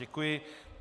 Děkuji.